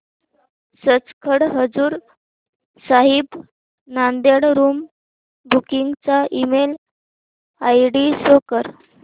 Sachkhand Hazur Sahib Nanded room booking चा email ID show कर